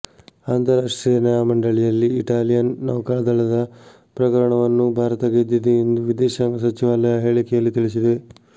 ಅಂತಾರಾಷ್ಟ್ರೀಯ ನ್ಯಾಯಮಂಡಳಿಯಲ್ಲಿ ಇಟಾಲಿಯನ್ ನೌಕಾದಳದ ಪ್ರಕರಣವನ್ನು ಭಾರತ ಗೆದ್ದಿದೆ ಎಂದು ವಿದೇಶಾಂಗ ಸಚಿವಾಲಯ ಹೇಳಿಕೆಯಲ್ಲಿ ತಿಳಿಸಿದೆ